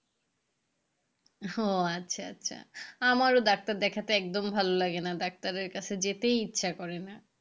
ও আচ্ছা আচ্ছা আমারও ডাক্তার দেখাতে একদম ভালো লাগেনা ডাক্তারের কাছে যেতেই ইচ্ছা করে না।